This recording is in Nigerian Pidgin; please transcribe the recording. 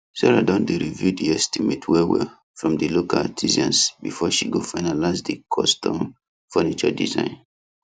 sarah don dey review the estimate well well from the local artisans before she go finalize the custom furniture design